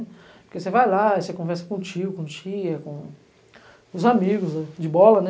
Porque você vai lá, você conversa com tio, com tia, com os amigos, de bola, né?